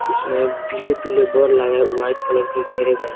इसमें पीले-पीले बोल लागे है व्हाइट कलर के घेरे गए हैं --